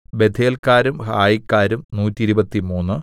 ബേഥേൽകാരും ഹായിക്കാരും നൂറ്റിരുപത്തിമൂന്ന്